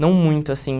Não muito, assim.